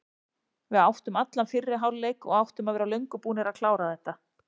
Við áttum allan fyrri hálfleik og áttum að vera löngu búnir að klára þetta.